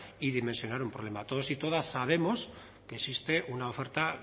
y dimensionar un problema todos y todas sabemos que existe una oferta